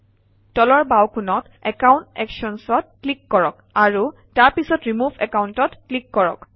তলৰ বাওঁকোণত account Actions অত ক্লিক কৰক আৰু তাৰ পিছত ৰিমুভ Account অত ক্লিক কৰক